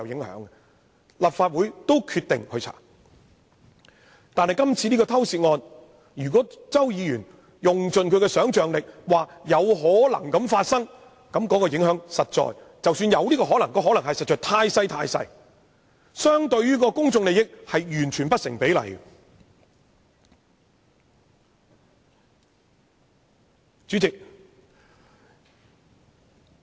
可是，就今次這宗偷竊案，即使周議員窮盡其想象力，指出有此可能，那影響儘管有可能出現，但也實在太小，相對於公眾利益而言完全是不成比例。